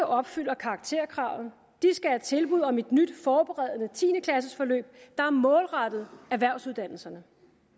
opfylder karakterkravet skal have tilbud om et nyt forberedende tiende klassesforløb der er målrettet erhvervsuddannelserne